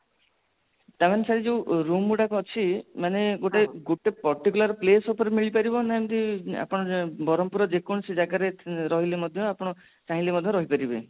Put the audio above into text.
ତା ମାନେ ଶେଠୀ ଯୋଉ room ଗୁଡାକ ଅଛି ମାନେ ମାନେ ଗୋତ୍ଵ particular place ଉପରେ ମିଳି ପାରିବ ନା ଏମିତି ଆପଣ ବ୍ରହ୍ମପୁର ର ଯେ କୌଣସି ଜାଗା ରେ ରହିଲେ ମଧ୍ୟ ସେ ରହିଲେ ମଧ୍ୟ ଚାହିଁଲେ ରହିପାରିବେ